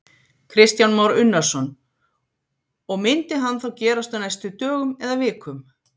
Kristján Már Unnarsson: Og, myndi hann þá gerast á næstu dögum eða vikum?